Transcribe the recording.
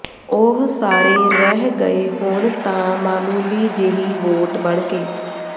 ਉਹ ਸਾਰੇ ਰਹਿ ਗਏ ਹੁਣ ਤਾਂ ਮਾਮੂਲੀ ਜਿਹੀ ਵੋਟ ਬਣਕੇ